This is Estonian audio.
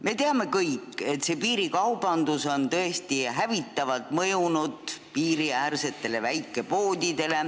Me teame kõik, et piirikaubandus on piiriäärsetele väikepoodidele tõesti hävitavalt mõjunud.